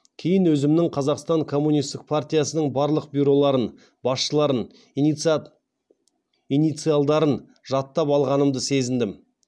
кейін өзімнің қазақстан коммунистік партиясының барлық бюроларын басшыларын инициалдарын жаттап алғанымды сезіндім